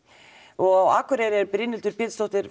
og á Akureyri er Brynhildur Pétursdóttir